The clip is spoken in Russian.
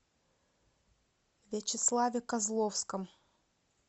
вячеславе козловском